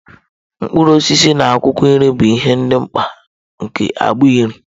Mkpụrụ osisi na akwụkwọ nri bụ ihe dị mkpa nke agbụ nri.